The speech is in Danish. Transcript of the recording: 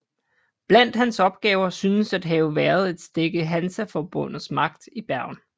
Blandt hans opgaver synes at have været at stække Hansaforbundets magt i Bergen